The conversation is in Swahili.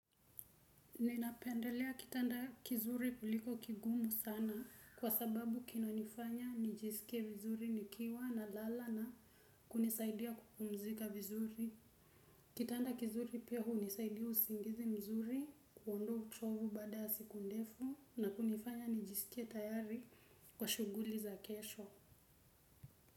Ninapendelea kitanda kizuri kuliko kigumu sana kwa sababu kinanifanya nijisike vizuri nikiwa na lala na kunisaidia kupumzika vizuri. Kitanda kizuri pia hunisaidia usingizi mzuri kuondoa uchovu baada ya siku ndefu na kunifanya nijisike tayari kwa shughuli za kesho.